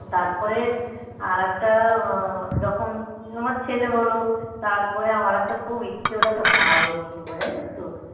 হ্যাঁ আর তারপরে আর একটা আহ যখন আমার ছেলে হল তারপরে আমার একটা খুব ইচ্ছে হলো একটা বাঁদর কিনবো জানিস তো?